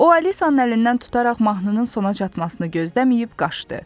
O Alisanın əlindən tutaraq mahnının sona çatmasını gözləməyib qaçdı.